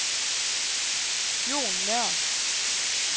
Jon Nøhr